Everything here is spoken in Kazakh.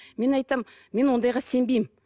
мен айтамын мен ондайға сенбеймін